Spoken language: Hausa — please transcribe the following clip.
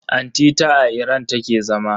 Anti ta a Iran take zama.